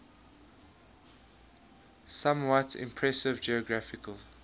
somewhat imprecise geographical